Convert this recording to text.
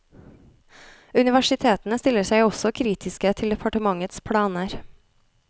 Universitetene stiller seg også kritiske til departementets planer.